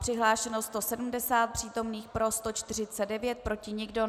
Přihlášeno 170 přítomných, pro 149, proti nikdo.